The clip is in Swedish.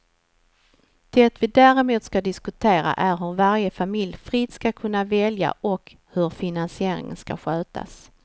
Det vi däremot ska diskutera är hur varje familj fritt ska kunna välja och hur finansieringen ska skötas.